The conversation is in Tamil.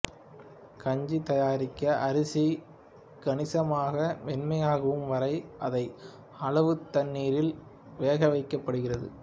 கஞ்சி தயாரிக்க அரிசி கணிசமாக மென்மையாகும் வரை அதிக அளவு தண்ணீரில் வேகவைக்கப்படுகிறது